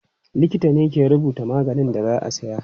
Likita ne ke rubuta maganin da za a siya.